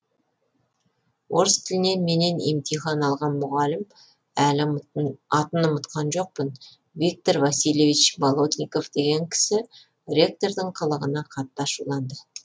орыс тілінен менен емтихан алған мұғалім әлі атын ұмытқан жоқпын виктор васильевич болотников деген кісі ректордың қылығына қатты ашуланды